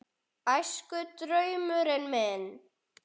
Æskudraumurinn minn?